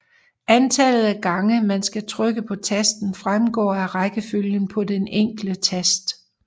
Antallet af gange man skal trykke på tasten fremgår af rækkefølgen på den enkelte tast